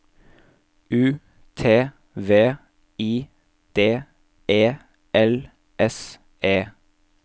U T V I D E L S E